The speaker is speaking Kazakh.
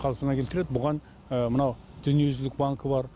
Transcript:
қалпына келтіреді бұған мынау дүниежүзілік банкі бар